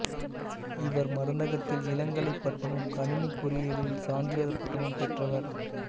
இவர் மருந்தகத்தில் இளங்கலை பட்டமும் கணினிப் பொறியியலில் சான்றிதழ் பட்டமும் பெற்றவர்